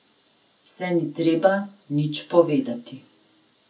Saj ni treba nič povedati.